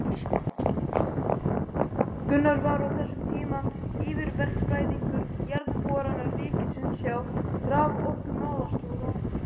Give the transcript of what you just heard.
Gunnar var á þessum tíma yfirverkfræðingur Jarðborana ríkisins hjá raforkumálastjóra.